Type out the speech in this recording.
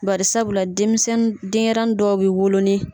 Barisabula denmisɛninw denɲɛrɛnin dɔw bɛ wolo